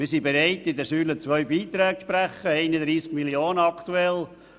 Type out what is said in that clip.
Wir sind bereit, im Rahmen der Säule II Beiträge im Umfang von aktuell 31 Mio. Franken zu leisten.